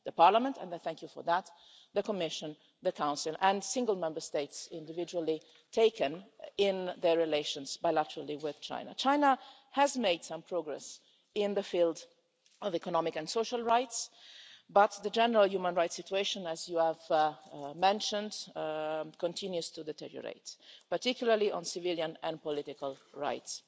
The Parliament the Commission, the Council and single Member States individually taken in their relations bilaterally with China. China has made some progress in the field of economic and social rights, but the general human rights situation, as you have mentioned, continues to deteriorate, particularly on civilian and political rights.